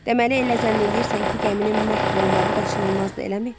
Deməli elə zənn eləyirsən ki, gəminin məhv olmağı qaçınılmazdır, eləmi?